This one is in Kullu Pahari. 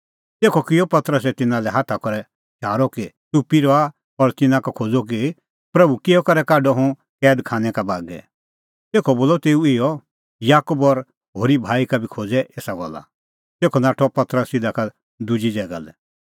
तेखअ किअ पतरसै तिन्नां लै हाथा करै शारअ कि च़ुप्पी रहा और तिन्नां का खोज़अ कि प्रभू किहअ करै काढअ हुंह कैद खानै का बागै तेखअ बोलअ तेऊ इहअ याकूब और होरी भाई का बी खोज़ै एसा गल्ला तेखअ नाठअ पतरस तिधा का दुजी ज़ैगा लै